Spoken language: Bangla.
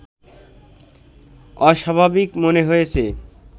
অস্বাভাবিক মনে হয়েছে